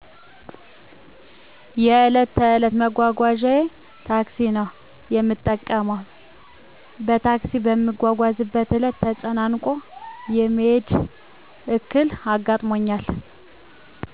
የዕለት ተዕለት መጓጓዣየ ታክሲ ነው የምጠቀመው። በታክሲ በምትጓዝበት ዕለት ተጨናንቆ የመሄድ ዕክል አጋጥሞኛል።